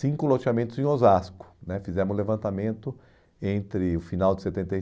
Cinco loteamentos em Osasco né, fizemos levantamento entre o final de setenta e